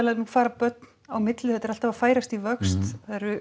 fara börn á milli þetta er alltaf að færast í vöxt